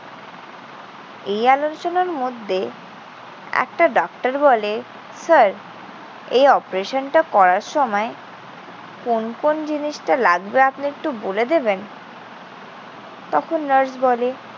এই আলোচনার মধ্যে একটা ডাক্তার বলে, স্যার, এই operation টা করার সময় কোন কোন জিনিসটা লাগবে আপনি একটু বলে দেবেন? তখন নার্স বলে,